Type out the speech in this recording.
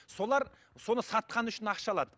солар соны сатқан үшін ақша алады